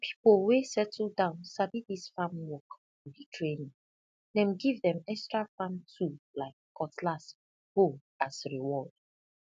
di pipo wey settle down sabi dis farm work for di training dem give dem extra farm tool like cutlass hoe as reward